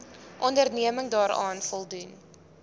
onderneming daaraan voldoen